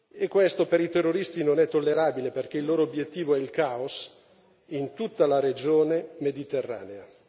E questo per i terroristi non è tollerabile, perché il loro obiettivo è il caos in tutta la regione mediterranea.